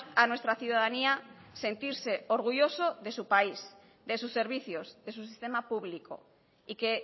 a nuestra ciudadanía sentirse orgulloso de su país de sus servicios de su sistema público y que